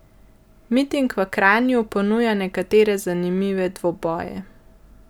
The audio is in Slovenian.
Miting v Kranju ponuja nekatere zanimive dvoboje.